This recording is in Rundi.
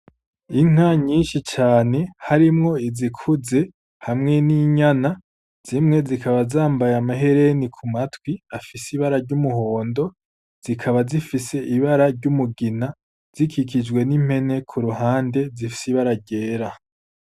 Inka nyinshi cane harimwo izikuze hamwe n'inyana, zimwe zikaba zambaye amahereni ku matwi afise ibara ry'umuhondo, zikaba zifise ibara ry'umugina zikikijwe n'impene ku ruhande zifise ibara ryera.